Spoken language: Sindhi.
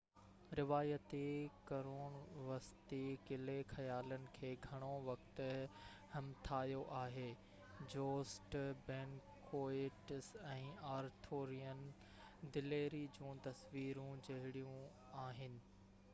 روايتي قرون وسطي قلعي خيالن کي گهڻو وقت همٿايو آهي جوسٽ بينڪوئيٽس ۽ آرٿورين دليري جون تصويرون جوڙيون آهن